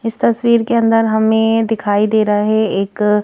इस तस्वीर के अंदर हमें दिखाई दे रहा है एक--